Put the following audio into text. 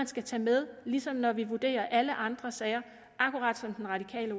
skal tage med ligesom når vi vurderer alle andre sager akkurat som den radikale